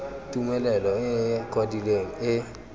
tumelelo e e kwadilweng e